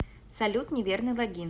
салют неверный логин